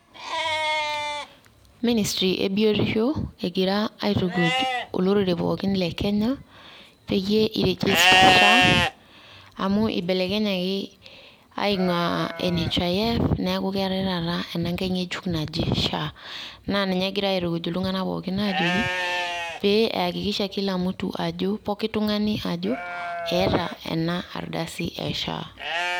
Ministry ebiotisho egira aitukuj olorere pookin le Kenya peyie i register SHA ,amu ibelekenyaki aing'uaa NHIF neeku keetai taata ena nkae ng'ejuk naji SHA. Na ninye egirai aitukuj iltung'anak pookin ajoki pe eakikisha kila mtu ajo pookin tung'ani ajo eeta enardasi e SHA.